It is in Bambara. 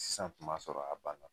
Sisan kun b'a sɔrɔ a banna